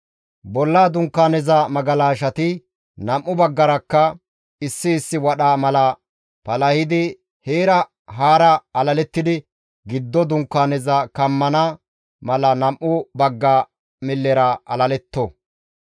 Bolla Dunkaaneza magalashati nam7u baggarakka issi issi wadha mala palahidi heera haara alalettidi giddo dunkaaneza kammana mala nam7u bagga millera alaletto.